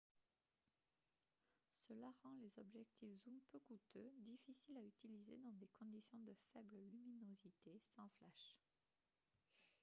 cela rend les objectifs zoom peu coûteux difficiles à utiliser dans des conditions de faible luminosité sans flash